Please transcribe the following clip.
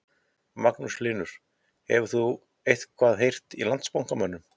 Magnús Hlynur: Hefur þú eitthvað heyrt í Landsbankamönnum?